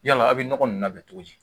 Yala aw bɛ nɔgɔ ninnu labɛn cogo di